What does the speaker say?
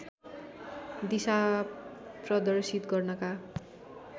दिशा प्रदर्शित गर्नका